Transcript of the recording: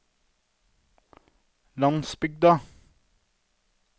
landsbygden